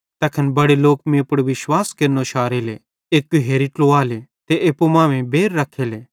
तैखन बड़े लोक मीं पुड़ विश्वास केरनो शारेले एक्की होरि ट्लुवाले ते एप्पू मांमेइं भी बैर रखेले